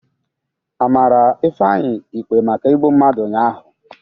A mara Ifeanyị ikpe maka igbu mmadụ ụnyahụ?